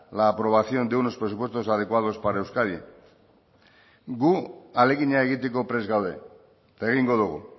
la aprobación de unos presupuestos adecuados para euskadi guk ahalegina egiteko prest gaude eta egingo dugu